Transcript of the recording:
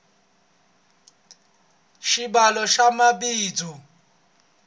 swibalo swa mabindzu